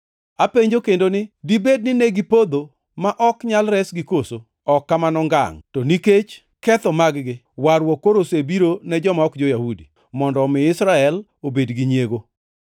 Apenjo kendo ni: Dibed ni negipodho ma ok nyal resgi koso? Ok kamano ngangʼ! To nikech ketho mag-gi, warruok koro osebiro ne joma ok jo-Yahudi mondo omi Israel obed gi nyiego.